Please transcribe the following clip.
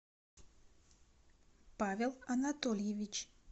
павел анатольевич